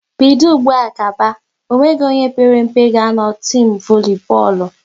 Bido ụgbụa gaba, ọ nweghị onye père mpe ga a nọ n'timu voli bọọlụ!